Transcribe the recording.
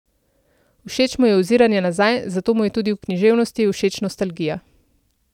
Všeč mu je oziranje nazaj, zato mu je tudi v književnosti všeč nostalgija.